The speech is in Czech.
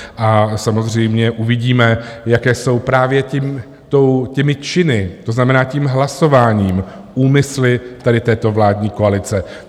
A samozřejmě uvidíme, jaké jsou, právě těmi činy, to znamená tím hlasováním, úmysly tady této vládní koalice.